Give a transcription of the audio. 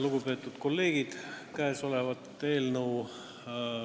Lugupeetud kolleegid!